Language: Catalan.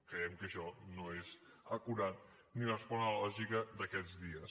creiem que això no és acurat ni respon a la lògica d’aquests dies